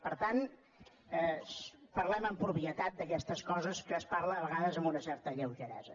per tant parlem amb propietat d’aquestes coses que es parla a vegades amb una certa lleugeresa